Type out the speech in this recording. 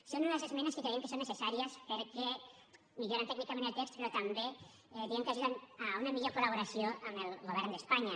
són unes esmenes que creiem que són necessàries perquè milloren tècnicament el text però també diguem ne que ajuden a una millor col·laboració amb el govern d’espanya